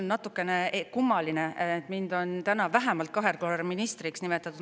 Mul natukene kummaline tunne, et mind on täna vähemalt kahel korral ministriks nimetatud.